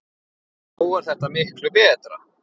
Nú er þetta miklu betra.